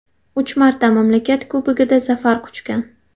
Uch marta mamlakat Kubogida zafar quchgan.